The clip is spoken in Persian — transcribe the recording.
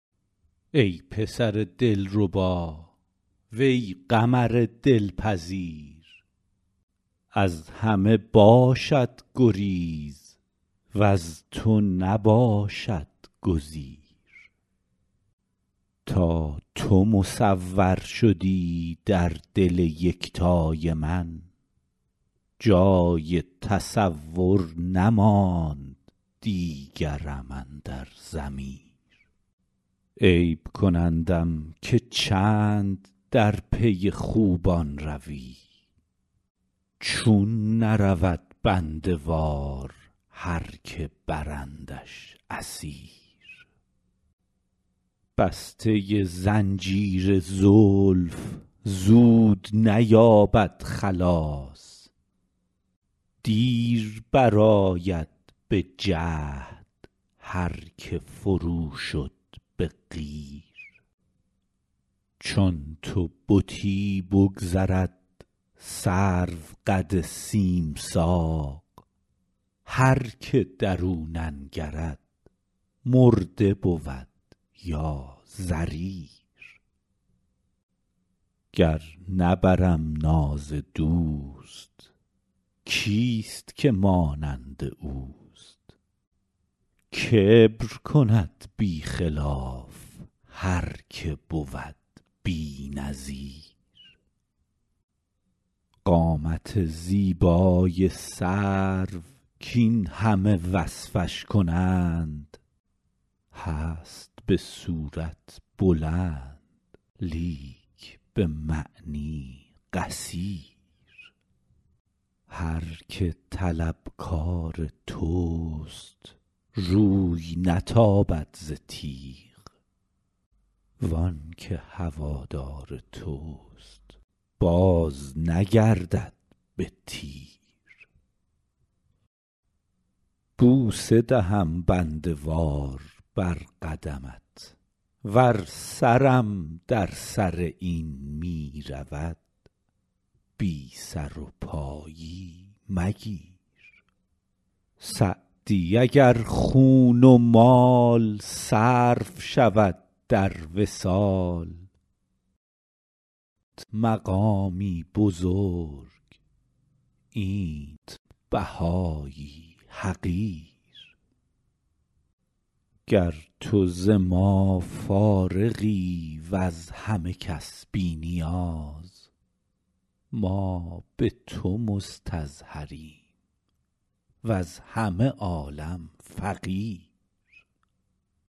ای پسر دلربا وی قمر دلپذیر از همه باشد گریز وز تو نباشد گزیر تا تو مصور شدی در دل یکتای من جای تصور نماند دیگرم اندر ضمیر عیب کنندم که چند در پی خوبان روی چون نرود بنده وار هر که برندش اسیر بسته زنجیر زلف زود نیابد خلاص دیر برآید به جهد هر که فرو شد به قیر چون تو بتی بگذرد سروقد سیم ساق هر که در او ننگرد مرده بود یا ضریر گر نبرم ناز دوست کیست که مانند اوست کبر کند بی خلاف هر که بود بی نظیر قامت زیبای سرو کاین همه وصفش کنند هست به صورت بلند لیک به معنی قصیر هر که طلبکار توست روی نتابد ز تیغ وان که هوادار توست بازنگردد به تیر بوسه دهم بنده وار بر قدمت ور سرم در سر این می رود بی سر و پایی مگیر سعدی اگر خون و مال صرف شود در وصال آنت مقامی بزرگ اینت بهایی حقیر گر تو ز ما فارغی وز همه کس بی نیاز ما به تو مستظهریم وز همه عالم فقیر